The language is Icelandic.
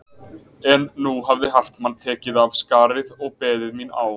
En nú hafði Hartmann tekið af skarið og beðið mín á